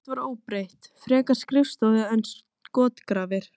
Val mitt var óbreytt, frekar skrifstofu en skotgrafir.